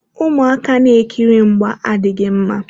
Ụmụaka na-ekiri mgba adịghị mma.